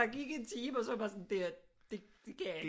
Gik en time og så var jeg bare sådan det her det kan jeg ikke